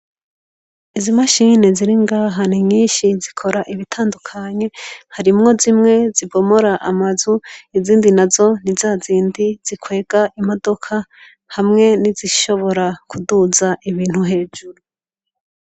Izi mashini ziri ngaha ninyishi zikora ibitandukanye. Harimwo zimwe zibomara amazu izindi nazo nizazindi zikwega amamodoka hamwe nizishobora kuduza ibintu hejuru.